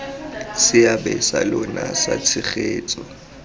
seabe sa lona sa tshegetso